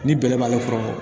Ni bɛlɛ b'ale kɔrɔ